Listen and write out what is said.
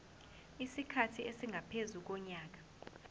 isikhathi esingaphezu konyaka